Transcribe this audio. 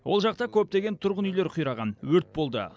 ол жақта көптеген тұрғын үйлер қираған өрт болды